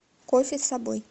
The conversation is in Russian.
кофе с собой